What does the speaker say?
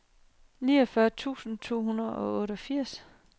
niogfyrre tusind to hundrede og otteogfirs